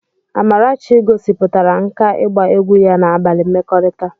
Amarachi gosipụtara nkà ịgba egwu ya na abalị mmekọrịta.